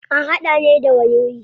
An hada ne da wayoyi.